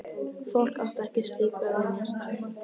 Fólk átti ekki slíku að venjast.